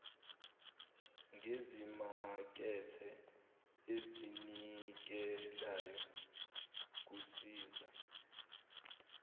ngezimakethe ezinikelayo kusiza